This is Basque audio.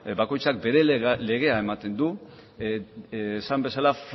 bakoitzak bere legea ematen du esan bezala